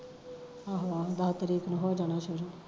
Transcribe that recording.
ਆਹੋ ਆਹੋ ਦਸ ਤਰੀਕ ਨੂੰ ਹੋ ਜਾਣਾ ਸ਼ੁਰੂ